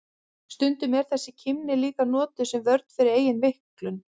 Stundum er þessi kímni líka notuð sem vörn fyrir eigin veiklun.